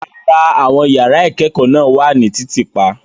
Rárá, àwọn yàrá ìkẹ́kọ̀ọ́ náà wà ní títì pa.